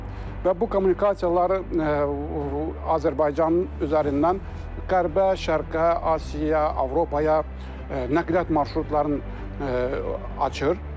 Və bu kommunikasiyaları Azərbaycanın üzərindən qərbə, şərqə, Asiya, Avropaya nəqliyyat marşrutlarını açır.